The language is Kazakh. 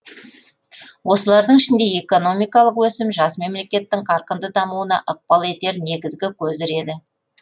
осылардың ішінде экономикалық өсім жас мемлекеттің қарқынды дамуына ықпал етер негізгі көзір еді